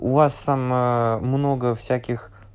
у вас там много всяких